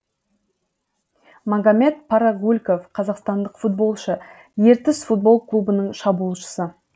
магомед парагульков қазақстандық футболшы ертіс футбол клубының шабуылшысы